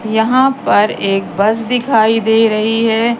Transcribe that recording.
यहां पर एक बस दिखाई दे रही है।